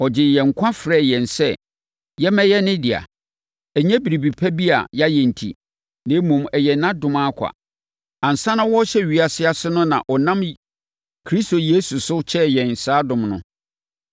Ɔgyee yɛn nkwa frɛɛ yɛn sɛ yɛmmɛyɛ ne dea. Ɛnyɛ biribi pa bi a yɛayɛ enti, na mmom, ɛyɛ nʼadom ara kwa. Ansa na wɔrehyɛ ewiase ase no na ɔnam Kristo Yesu so kyɛɛ yɛn saa adom no,